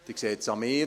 Sie sehen es an mir: